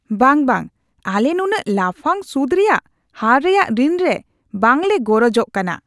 ᱵᱟᱝ, ᱵᱟᱝ! ᱟᱞᱮ ᱱᱩᱱᱟᱹᱜ ᱞᱟᱯᱷᱟᱝ ᱥᱩᱫ ᱨᱮᱭᱟᱜ ᱦᱟᱨ ᱨᱮᱭᱟᱜ ᱨᱤᱱ ᱨᱮ ᱵᱟᱝ ᱞᱮ ᱜᱚᱨᱚᱡᱚᱜ ᱠᱟᱱᱟ ᱾